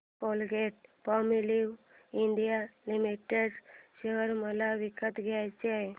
Colgate Palmolive India limited share मला विकत घ्यायचे आहेत